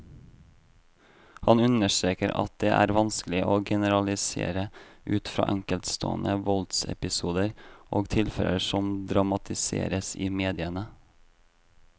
Han understreker at det vanskelig å generalisere ut fra enkeltstående voldsepisoder og tilfeller som dramatiseres i mediene.